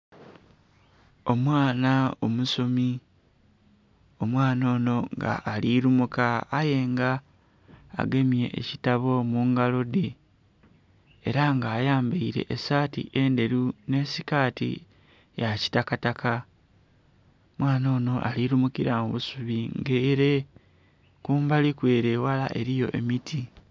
Omwana omusomi, omwana onho nga alikumuka aye nga agemye ekitabo mungalodhe era nga ayambaire esaati endheru nhi sikaati ya kitakataka. Omwana onho ali lumukila mu busubi nga ere kumbali ku ere eghala eriyo emiti.